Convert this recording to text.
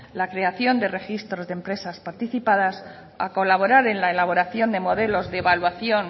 la creación de registros de empresas participadas a colaborar en la elaboración de modelos de evaluación